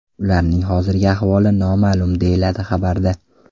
Ularning hozirgi ahvoli noma’lum”, deyiladi xabarda.